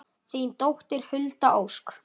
Þín dóttir, Hulda Ósk.